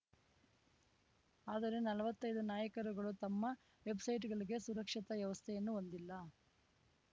ಆದರೆ ನಲ್ವತ್ತೈದು ನಾಯಕರುಗಳು ತಮ್ಮ ವೆಬ್‌ಸೈಟ್‌ಗಳಿಗೆ ಸುರಕ್ಷತಾ ವ್ಯವಸ್ಥೆಯನ್ನು ಹೊಂದಿಲ್ಲ